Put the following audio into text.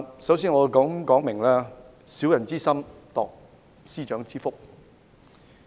首先，我認為有人"以小人之心度司長之腹"。